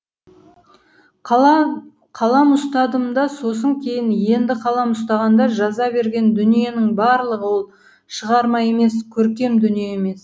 қалам ұстадым да сосын кейін енді қалам ұстағанда жаза берген дүниенің барлығы ол шығарма емес көркем дүние емес